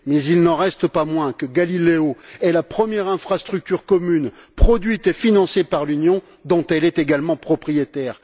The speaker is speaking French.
Mais il n'en reste pas moins que Galileo est la première infrastructure commune produite et financée par l'Union dont elle est également propriétaire.